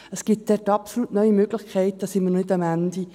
Es gibt absolut neue Möglichkeiten, da sind wir noch nicht am Ende.